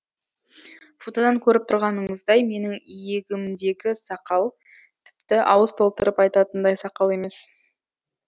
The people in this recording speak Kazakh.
фотодан көріп тұрғаныңыздай менің иегімдегі сақал тіпті ауыз толтырып айтатындай сақал емес